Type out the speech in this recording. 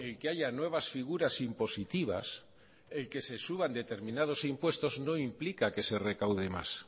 que haya nuevas figuras impositivas el que se suban determinados impuestos no implican que se recaude más